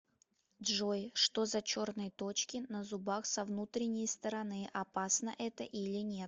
джой что за черные точки на зубах со внутренней стороны опасно это или нет